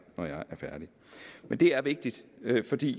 når jeg er færdig men det er vigtigt fordi